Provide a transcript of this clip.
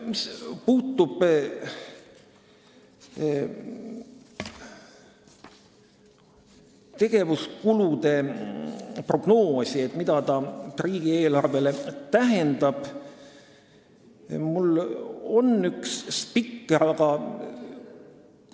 Mis puudutab tegevuskulude prognoosi, seda, mida see riigieelarvele tähendab, siis mul on üks spikker, aga ...